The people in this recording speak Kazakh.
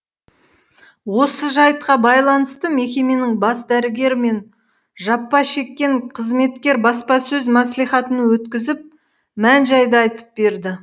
осы жайтқа байланысты мекеменің бас дәрігері мен жапа шеккен қызметкер баспасөз мәслихатын өткізіп мән жайды айтып берді